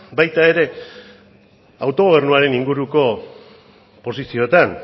baita ere autogobernuaren inguruko posizioetan